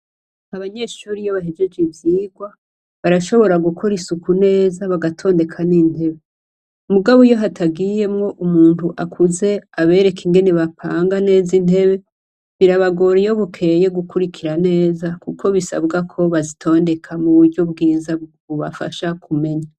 Abanyeshure iyo bahejeje ivyirwa, barashobora gukora isuku neza bagatondeka n'intebe. Mugabo iyo hatagiyemwo umuntu akuze abereke ingene bapanga neza intebe birabagora iyo bukeye gukurikira neza kuko bisabwa ko bazitondeka mu buryo bwiza bwobafasha kumenya.